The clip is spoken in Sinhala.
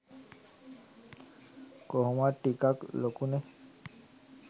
කොහොමත් ටිකක් ලොකුනෙ'